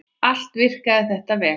Allt virkaði þetta vel.